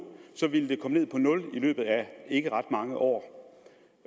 ville det komme ned på nul i løbet af ikke ret mange år